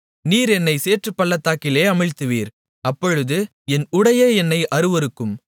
நீர் என்னைச் சேற்றுப்பள்ளத்திலே அமிழ்த்துவீர் அப்பொழுது என் உடையே என்னை அருவருக்கும்